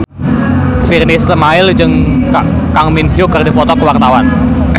Virnie Ismail jeung Kang Min Hyuk keur dipoto ku wartawan